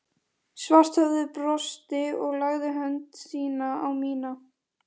Svarthöfði brosti og lagði hönd sína á mína